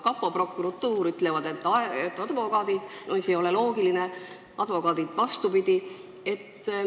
Kapo ja prokuratuur ütlevad, et advokaatidelt – mis ei ole loogiline –, advokaadid väidavad vastupidist.